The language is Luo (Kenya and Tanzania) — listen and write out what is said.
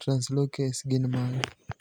translocase gin mage?